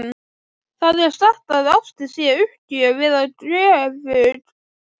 Það er sagt að ástin sé uppgjöf eða göfug fórn.